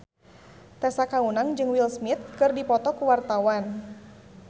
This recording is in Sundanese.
Tessa Kaunang jeung Will Smith keur dipoto ku wartawan